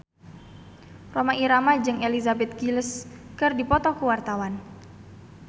Rhoma Irama jeung Elizabeth Gillies keur dipoto ku wartawan